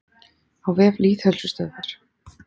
Á vef Lýðheilsustöðvar.